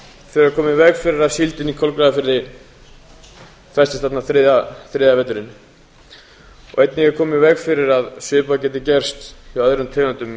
þurfum við að koma í veg fyrir að síldin í kolgrafafirði festist þarna þriðja veturinn og einnig að koma í veg fyrir að svipað geti gerst hjá öðrum tegundum